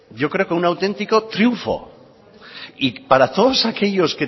yo creo que un auténtico triunfo y para todos aquellos